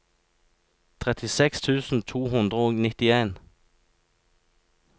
trettiseks tusen to hundre og nittien